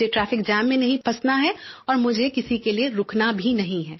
मुझे traffic jam में नहीं फंसना है और मुझे किसी के लिये रुकना भी नहीं है